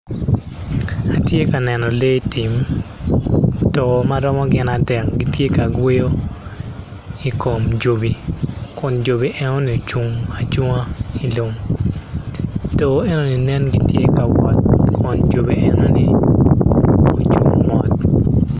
Atye ka neno lee tim too ma romo gin adek gitye ka yweyo i kom jobi kun jobi enoni ocung acunga i lum too enoni nen gitye ka wot jobi enoni gucung mot.